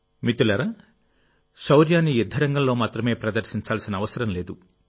మిత్రులారాశౌర్యాన్ని యుద్ధరంగంలో మాత్రమే ప్రదర్శించాల్సిన అవసరం లేదు